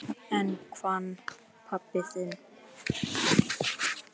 En hann pabbi þinn?